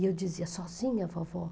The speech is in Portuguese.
E eu dizia, sozinha, vovó?